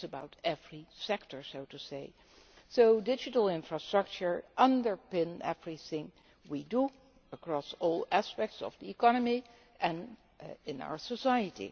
It is about every sector, so to speak. Digital infrastructure underpins everything we do across all aspects of the economy and in our society.